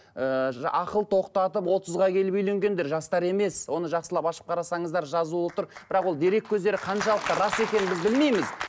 ыыы ақыл тоқтатып отызға келіп үйленгендер жастар емес оны жақсылап ашып қарасаңыздар жазулы тұр бірақ ол дерек көздері қаншалықты рас екенін біз білмейміз